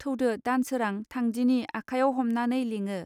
थौदो दानसोरां थांदिनि आखायाव हमनानै लिङो